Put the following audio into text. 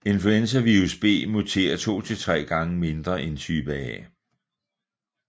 Influenzavirus B muterer 2 til 3 gange mindre end type A